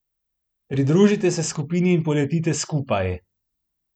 Pridružite se skupini in poletite skupaj!